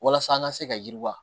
Walasa an ka se ka yiriwa